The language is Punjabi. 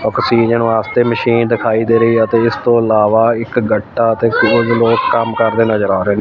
ਔਕਸੀਹਨ ਵਾਸਤੇ ਮਸ਼ੀਨ ਦਿਖਾਈ ਦੇ ਰਹੀਆ ਤੇ ਇਸਤੋਂ ਇਲਾਵਾ ਇੱਕ ਗੱਟਾ ਤੇ ਕੁਝ ਲੋਗ ਕਾਂਮ ਕਰਦੇ ਨਜਰ ਆ ਰਹੇ।